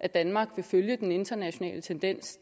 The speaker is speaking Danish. at danmark vil følge den internationale tendens